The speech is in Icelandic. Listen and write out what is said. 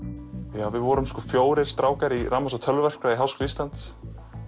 við vorum fjórir strákar í rafmagns og tölvuverkfræði í Háskóla Íslands